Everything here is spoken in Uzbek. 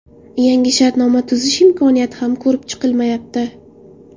Yangi shartnoma tuzish imkoniyati ham ko‘rib chiqilmayapti.